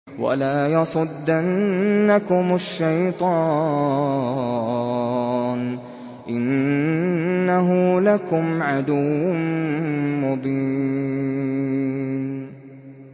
وَلَا يَصُدَّنَّكُمُ الشَّيْطَانُ ۖ إِنَّهُ لَكُمْ عَدُوٌّ مُّبِينٌ